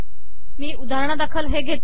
मी उदाहरणा दाखल हे घेते